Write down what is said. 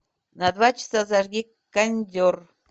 на два часа зажги кондер